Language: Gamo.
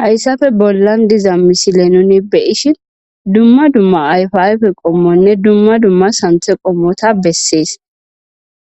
Hayssafe bollan diza misile nuni beyishin dumma dumma ayfiayfe qommonne dumma dumma hanthe qommota bessees